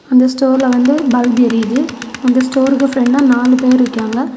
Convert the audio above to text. அந்த ஸ்டோர்ல வந்து பல்பு எரிது அந்த ஸ்டோருக்கு பிரண்ட்ல நாலு பேர் நிக்காங்க.